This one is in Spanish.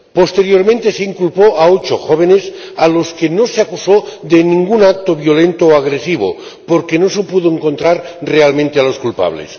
Posteriormente, se inculpó a ocho jóvenes, a los que no se acusó de ningún acto violento o agresivo, porque no se pudo encontrar realmente a los culpables.